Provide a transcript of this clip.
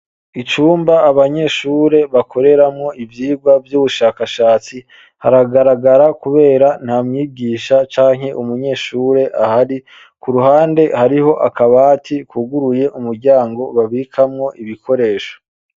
Icumba abanyeshure bakoreramwo ivyigwa vy'ubushakashatsi haragaragara kubera nta mwigisha canke umunyeshure ahari, ku ruhande hariho akabati kuguruye umuryango babikamwo ibikoresho.